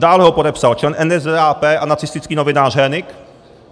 Dále ho podepsal člen NSDAP a nacistický novinář Hönig.